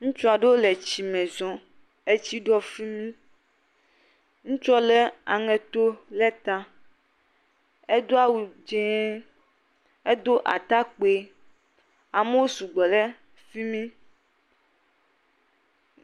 Ŋutsu aɖewo le etsi me zɔm. etsi ɖo fi mi. Ŋutsua le aŋeto ɖe ta. Edo awu dzi, edo atakpui. Amewo sugbɔ ɖe fi mi.